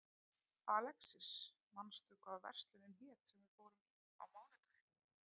Alexis, manstu hvað verslunin hét sem við fórum í á mánudaginn?